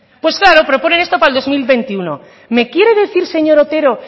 pues claro proponen esto para el dos mil veintiuno me quiere decir señor otero